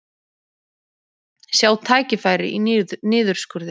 Sjá tækifæri í niðurskurði